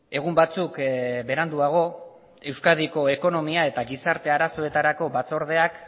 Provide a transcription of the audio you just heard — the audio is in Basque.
egun batzuk beranduago euskadiko ekonomia eta gizarte arazoetarako batzordeak